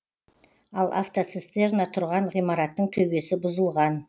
ал автоцистерна тұрған ғимараттың төбесі бұзылған